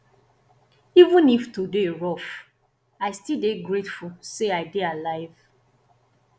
even if today rough i still dey grateful say i dey alive